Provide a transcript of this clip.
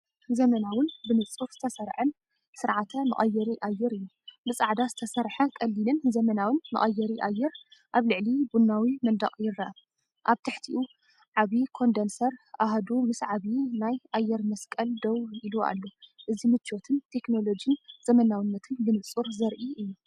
ዘመናውን ብንጹር ዝተሰርዐን ስርዓተ መቀየሪ ኣየር እዩ። ብጻዕዳ ዝተሰርሐ ቀሊልን ዘመናውን መቀየሪ ኣየር ኣብ ልዕሊ ቡናዊ መንደቕ ይርአ። ኣብ ትሕቲኡ ዓቢ ኮንደንስር ኣሃዱ ምስ ዓቢ ናይ ኣየር መስቀል ደው ኢሉኣሎ፡እዚ ምቾትን ቴክኖሎጂን ዘመናዊነትን ብንጹር ዘርኢ እዩ።